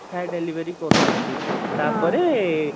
ପ୍ରାୟ delivery କରୁ ନାହାନ୍ତି ତା ପରେ